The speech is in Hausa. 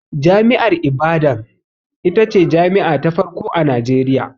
Jami'ar Ibadan ita ce jami'a ta farko a Najeriya.